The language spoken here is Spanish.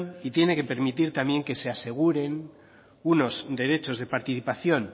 y tiene que permitir también que se aseguren unos derechos de participación